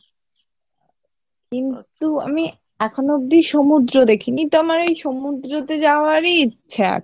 কিন্তু আমি এখনো অবদি সমুদ্র দেখিনি তো আমার এই সমুদ্র তে যাওয়ারই ইচ্ছা আছে।